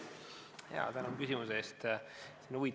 Jaa, tänan küsimuse eest!